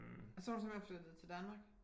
Og så er hun simpelthen flyttet til Danmark?